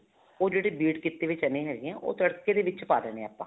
ਉਹ ਜਿਹੜੇ ਕੀਤੇ ਹੋਏ ਚਨੇ ਹੈਗੇ ਹੈ ਉਹ ਤੜਕੇ ਦੇ ਵਿੱਚ ਪਾ ਦੇਣੇ ਹੈ ਆਪਾਂ